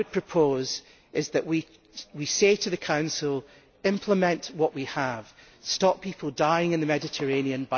What I would propose is that we say to the Council implement what we have and stop people dying in the Mediterranean.